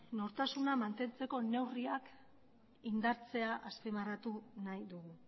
nortasuna mantentzeko neurriak indartzea azpimarratu nahi dugu